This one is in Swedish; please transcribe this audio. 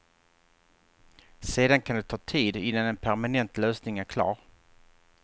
Sedan kan det ta tid innan en permanent lösning är klar.